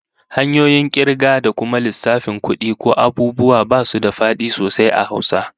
Hanyoyin kirga da kuma lissafin kudi ko abubuwa basu da fadi sosai a Hausa